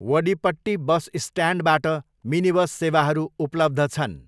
Vadipatti bus स्ट्यान्डबाट minibus सेवाहरू उपलब्ध छन्।